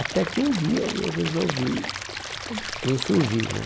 Até que um dia eu resolvi me insurgir né